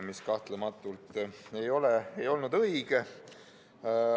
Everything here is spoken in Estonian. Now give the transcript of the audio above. See kahtlematult ei olnud õige.